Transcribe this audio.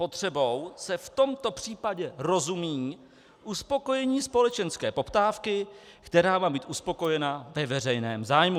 Potřebou se v tomto případě rozumí uspokojení společenské poptávky, která má být uspokojena ve veřejném zájmu.